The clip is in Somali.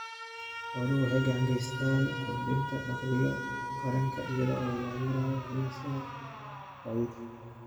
Xooluhu waxay gacan ka geystaan ??kordhinta dakhliga qaranka iyada oo loo marayo ganacsiga gaadiidka.